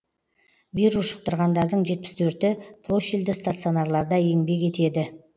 вирус жұқтырғандардың і профильді стационарларда еңбек етеді